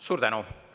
Suur tänu!